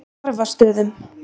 Narfastöðum